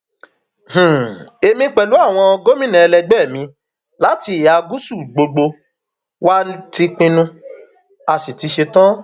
èmi pẹlú àwọn gómìnà ẹlẹgbẹ mi láti ìhà gúúsù gbogbo wa ti pinnu a sì ti ṣetán